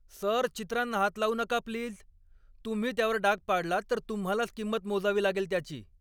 Sir, चित्रांना हात लावू नका प्लीज! तुम्ही त्यावर डाग पाडलात तर तुम्हालाच किंमत मोजावी लागेल त्याची.